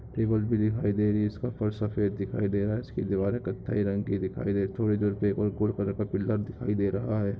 Table भी दिखाई दे रही हैं इसका फर्श सफ़ेद दिखाई दे रहा हैं इसकी दीवारे कत्थई रंग की दिखाई दे थोड़ी दूर पेपर गोल्ड कलर का पिलर दिखाई दे रहा हैं।